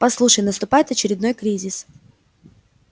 послушай наступает очередной кризис